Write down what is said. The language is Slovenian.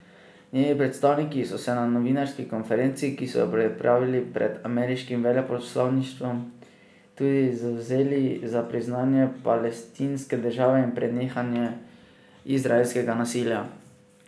Njeni predstavniki so se na novinarski konferenci, ki so jo pripravili pred ameriškim veleposlaništvom, tudi zavzeli za priznanje palestinske države in prenehanje izraelskega nasilja.